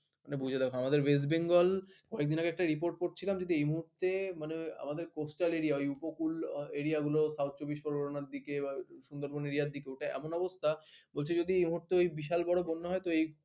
বুঝে দেখো আমাদের ওয়েস্ট বেঙ্গল কয়েকদিন আগে একটা report পড়ছিলাম যদি এই মুহূর্তে মানে আমাদের costal area উপকূল এরিয়াগুলো south চব্বিশ পরগনার দিকে সুন্দরবন এরিয়ার দিকে এমন অবস্থা বলছি যদি এই মুহূর্তে বিশাল বড় বন্যা হয় তো এই